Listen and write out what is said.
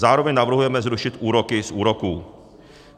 Zároveň navrhujeme zrušit úroky z úroků.